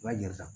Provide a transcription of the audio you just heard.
I b'a jɛnsan